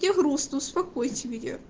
мне грустно успокойте меня